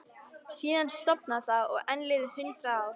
Síðan sofnaði það og enn liðu hundrað ár.